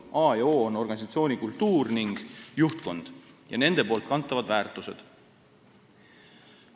A ja O on organisatsiooni kultuur ja juhtkond ning nende kantavad väärtused.